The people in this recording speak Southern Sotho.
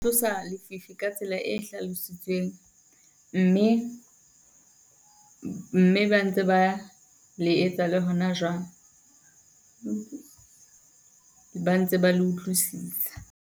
Tlosa lefifi ka tsela e hlalositsweng mme mme ba ntse ba le etsa le hona jwale. Ba ntse ba le utlwisisa.